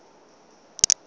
ya u ṅwalisa u do